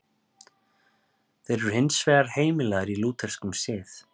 Þeir eru hins vegar heimilaðir í lútherskum sið.